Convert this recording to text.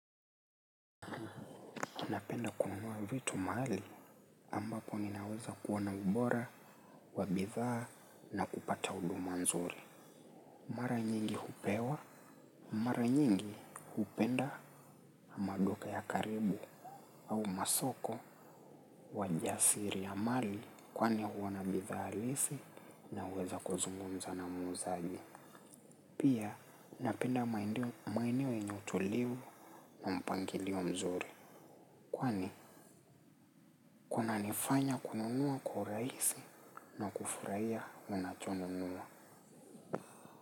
Napenda kununua vitu mahali ambapo ninaweza kuona ubora, wa bidhaa na kupata huduma nzuri. Mara nyingi hupewa, mara nyingi hupenda maduka ya karibu au masoko wa jasiri ya mali kwani huwa na bidhaa halisi na uwezo wa kuzungumza na muuzaji. Pia, napenda maeneo yenye utulivu na mpangilio mzuri. Kwani, kunanifanya kununua kwa urahisi na kufurahia unachonunua.